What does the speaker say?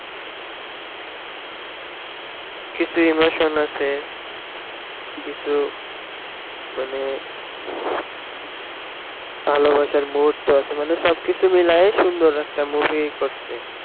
কিছু emotion আছে কিছু মানে ভালবাসার মুহূর্ত আছে মানে সবকিছু মিলায়ে সুন্দর একটা movie করসে